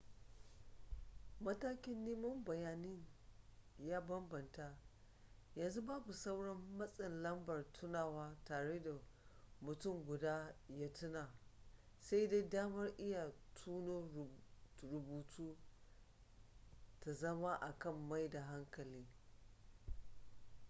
matakin neman bayanin ya bambanta yanzu babu sauran matsin lambar tunawa tare da mutum guda ya tuna sai dai damar iya tuno rubutu ta zama akan maida hankali